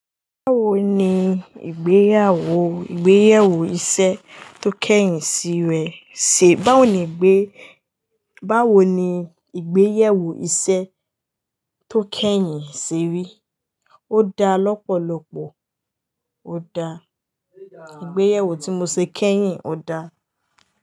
Báwo ni ìgbéyàwó, ìgbéyèwò iṣẹ́ tó kẹ́yìn sí rẹ̀ ṣe? Báwo ni ìgbé, báwo ni ìgbéyèwò iṣẹ́ tó kẹ́yìn se rí? Ó da lọ́pọ̀lọpọ̀, ó da. Ìgbéyèwò tí mo ṣe kẹ́yìn ó da.